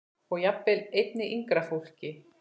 Og jafnvel einnig yngra fólki.